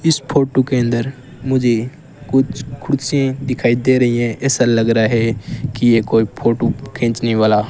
इस फोटो के अंदर मुझे कुछ कुर्सी दिखाई दे रही है ऐसा लग रहा है कि ये कोई फोटो खींचने वाला--